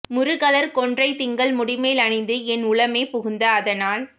முருகலர் கொன்றை திங்கள் முடிமேல் அணிந்து என் உளமே புகுந்த அதனால்